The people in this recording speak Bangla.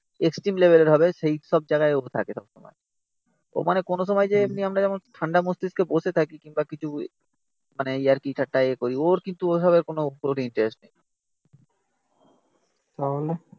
এক্সট্রিম লেবেলের হবে সেই সব জায়গায় ও থাকে তখন ও মানে কোনো সময় যে এমনি আমরা যেমন ঠান্ডা মস্তিষ্কে বসে থাকি কিংবা কিছু মানে ইয়ার্কি ঠাট্টা এ করি. ওর কিন্তু ওভাবে কোনো ইনটারেস্ট নেই